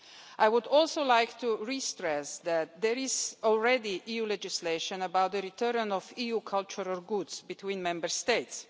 I would also like to stress again that there is already EU legislation about the return of EU cultural goods between Member States.